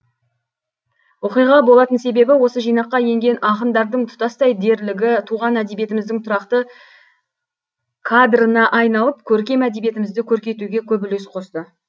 оқиға болатын себебі осы жинаққа енген ақындардың тұтастай дерлігі туған әдебиетіміздің тұрақты кадрына айналып көркем әдебиетімізді көркейтуге көп үлес қосты